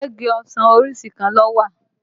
Ṣé igi ọsàn orísìí kan ló wà?